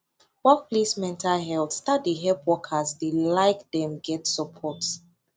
workplace mental health start de help workers de like dem get support